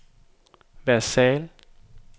Versailles